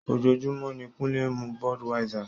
Ojoojúmọ́ ni Kunle ń mu Budweiser.